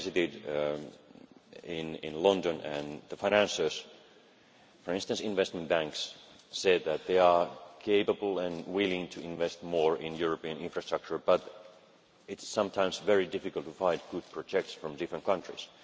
I visited London and the financiers, for instance investment banks, said that they are able and willing to invest more in European infrastructure but it is sometimes very difficult to find good projects from different countries.